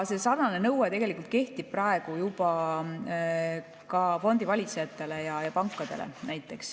Sarnane nõue kehtib praegu näiteks ka fondivalitsejatele ja pankadele.